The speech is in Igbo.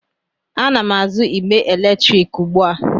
Ana m azụ igbe eletrik ugbu a.